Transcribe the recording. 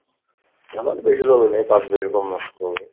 আমার বেশি জমি নাই পাঁচ বিঘার কম আসে